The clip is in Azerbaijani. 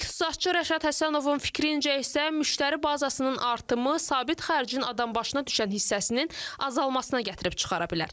İqtisadçı Rəşad Həsənovun fikrincə isə müştəri bazasının artımı sabit xərcin adambaşına düşən hissəsinin azalmasına gətirib çıxara bilər.